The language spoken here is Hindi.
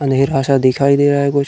अंधेरा सा दिखाई दे रहा है कुछ --